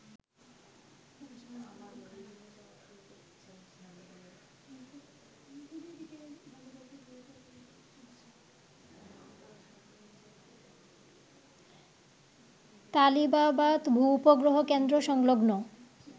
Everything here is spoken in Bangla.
তালিবাবাদ ভূ-উপগ্রহ কেন্দ্রসংলগ্ন